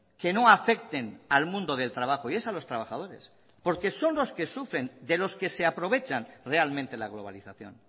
que no afecten al mundo del trabajo y es a los trabajadores porque son los que sufren de los que se aprovechan realmente la globalización